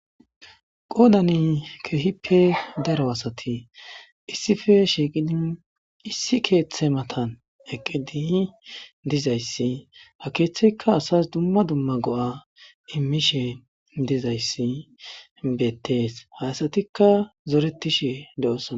Qoodan keehippe daro asati issipe shiiqidi issi keeththe matan eqqidi dizayssi ha keeththeykka asas dumma dumma go'a immishe dizayssi beettees ha asatikka zoretishe doosona.